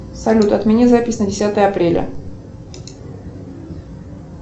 салют отмени запись на десятое апреля